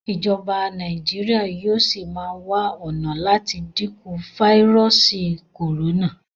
Ìjọba Nàìjíríà yóò sí má wá ọnà láti dínkù fáírọọsì corona.